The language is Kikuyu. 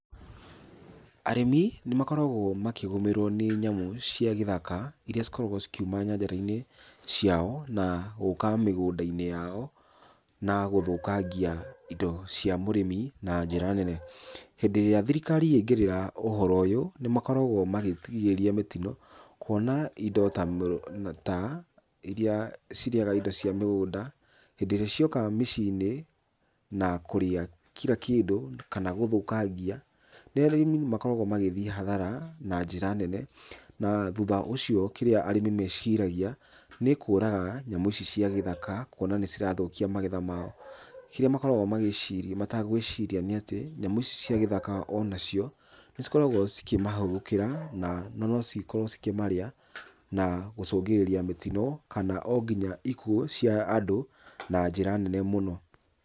Arĩmi nĩ makoragwo makĩgũmĩrwo nĩ nyamũ cia gĩthaka iria cikoragwo cikiuma nyanjara-inĩ ciao na gũka mĩgũnda-inĩ yao, na gũthũkangia indo cia mũrĩmi na njĩra nene. Hĩndĩ ĩrĩa thirikari yaingĩrĩra ũhoro ũyũ, nĩ makoragwo makĩgirĩrĩria mĩtino kũona indo ta, ta iria cirĩaga indo cia mĩgũnda, hĩndĩ rĩa cioka mĩciĩ-inĩ na kũrĩa kira kĩndũ kana gũthũkangia, rĩrĩa arĩmi makoragwo magĩthiĩ hathara na njĩra nene. Na thutha ũcio kĩrĩa arĩmi meciragia nĩ kũraga nyamũ ici cia gĩthaka, kũona nĩ cirathũkia magetha mao. Kĩrĩa makoragwo magĩciria, mategũĩciria nĩ atĩ, nyamũ ici cia gĩthaka o nacio nĩ cikoragwo cikĩmahũgũkĩra na na no cigĩkorwo cikĩmarĩa na gũcũngĩrĩria mĩtino, kana o nginya ikuũ cia andũ na njĩra nene mũno.